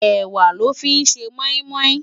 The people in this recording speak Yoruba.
Èwá lò fi n sé mòimòi